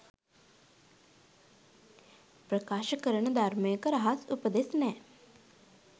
ප්‍රකාශ කරන ධර්මයක රහස් උපදෙස් නෑ